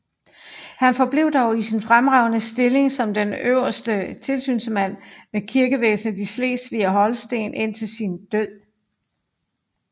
Han forblev dog i sin fremragende stilling som den øverste tilsynsmand med kirkevæsenet i Slesvig og Holsten indtil sin død